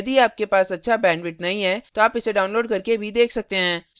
यदि आपके पास अच्छा bandwidth नहीं है तो आप इसे download करके देख सकते हैं